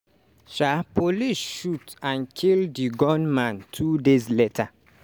um police shoot and kill di gunman two days later.